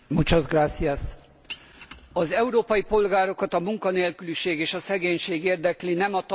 Az európai polgárokat a munkanélküliség és a szegénység érdekli, nem a Tanács köldöknéző vitája.